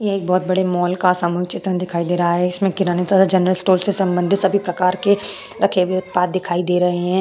ये एक बहुत बड़े मॉल का सामूहिक चित्रण दिखाई दे रहा है। इसमें किराने तथा जनरल स्टोर से सम्बंधित सभी प्रकार के रखे हुए उत्पाद दिखाई दे रहे हैं।